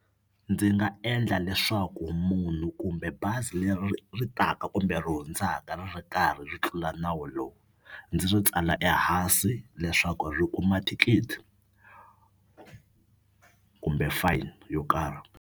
Ndzi nga endla leswaku munhu kumbe bazi leri ri taka kumbe ri hundzaka ri ri karhi ri tlula nawu lowu ndzi ri tsala ehansi leswaku ri kuma thikithi kumbe fine yo karhi.